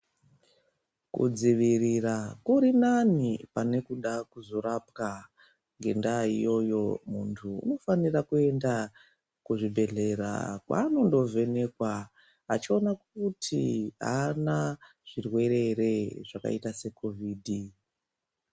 Kudzivirira kuri nane pane kuda kuzorapwa ndenda iyoyo vantu vanofana kuenda kuzvibhedhlera kwandonovhenekwa vachiona kuti haana zvirwere here zvakaita secovid.